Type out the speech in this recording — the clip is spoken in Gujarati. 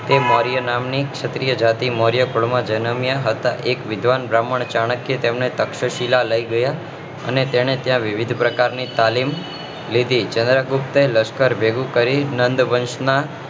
એ મૌર્ય નામ ની કક્ષત્રિય જાતિ મૌર્ય કુળ માં જનમ્યા હતા એક વિદ્વાન બ્રાહ્મણે ચાણક્ય એ એમણે તક્ષશિલા લઇ ગયા અને તેને ત્યાં વિવિધ પ્રકાર ની તાલીમ લીધી ચંદ્રગુપ્તે લશ્કર ભેગું કરી નંદવંશ